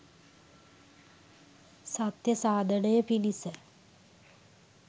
සත්‍ය සාධනය පිණිස